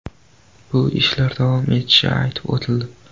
Bu ishlar davom etishi aytib o‘tildi.